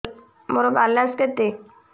ମୋର ବାଲାନ୍ସ କେତେ